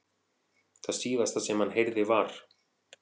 Það síðasta sem hann heyrði var.